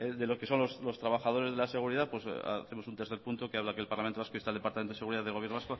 de lo que son los trabajadores de la seguridad hacemos un tercer punto que habla que el parlamento vasco insta al departamento de seguridad del gobierno